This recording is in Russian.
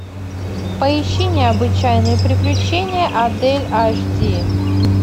поищи необычайные приключения адель аш ди